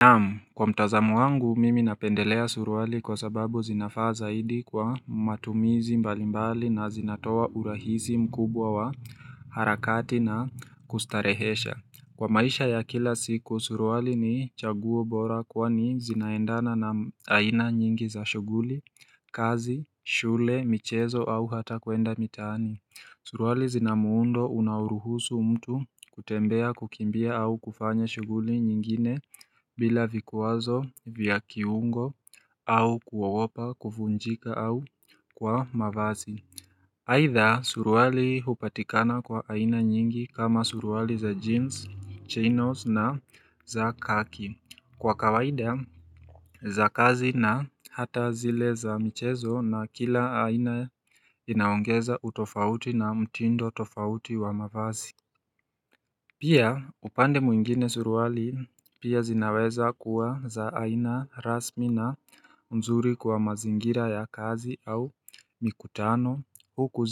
Naam, kwa mtazamo wangu, mimi napendelea suruali kwa sababu zinafaa zaidi kwa matumizi mbalimbali na zinatoa urahisi mkubwa wa harakati na kustarehesha. Kwa maisha ya kila siku, suruali ni chaguo bora kwani zinaendana na aina nyingi za shughuli, kazi, shule, michezo au hata kwenda mitaani. Suruali zinamuundo unaoruhusu mtu kutembea kukimbia au kufanya shughuli nyingine bila vikwazo, vya kiungo au kuogopa, kuvunjika au kwa mavazi. Aitha suruali hupatikana kwa aina nyingi kama suruali za jeans, chinos na za kaki. Kwa kawaida za kazi na hata zile za michezo na kila aina inaongeza utofauti na mtindo tofauti wa mavazi Pia upande mwingine suruali pia zinaweza kuwa za aina rasmi na mzuri kwa mazingira ya kazi au mikutano huku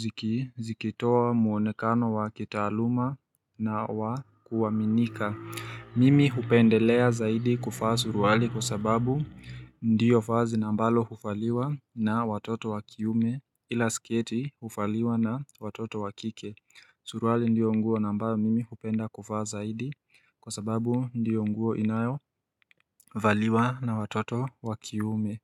zikitoa mwonekano wa kitaluma na wa kuaminika Mimi hupendelea zaidi kuvaa suruali kwa sababu ndiyo vazi na ambalo huvaliwa na watoto wakiume ila sketi huvaliwa na watoto wakike Suruali ndiyo nguo na ambayo mimi hupenda kuvaa zaidi kwa sababu ndiyo nguo inayo valiwa na watoto wakiume.